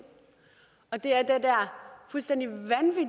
og det er